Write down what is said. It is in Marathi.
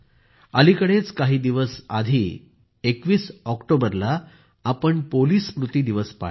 अलिकडेच काही दिवस आधी 21 ऑक्टोबरला आपण पोलिस स्मृती दिवस पाळला